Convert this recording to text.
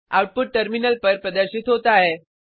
output terminal पर प्रदर्शित होता है